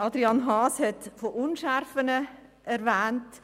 Es wurden Unschärfen erwähnt.